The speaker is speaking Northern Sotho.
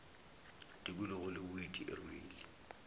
tikologo le boeti e rwele